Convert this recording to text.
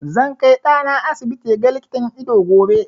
Zan kai ɗana asibiti ya ga likitan ido gobe.